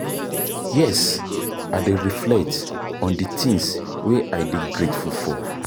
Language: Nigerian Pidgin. Yes, i dey reflect on di things wey i dey grateful for.